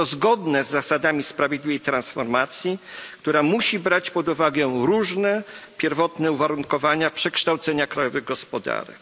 Jest to zgodne z zasadami sprawiedliwej transformacji, która musi brać pod uwagę różne pierwotne uwarunkowania przekształceń krajowych gospodarek.